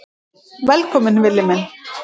Velkominn Villi minn.